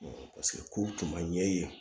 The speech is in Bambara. paseke kow tun ma ɲɛ yen